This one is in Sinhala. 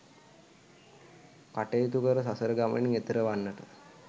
කටයුතු කර සසර ගමනින් එතෙර වන්නට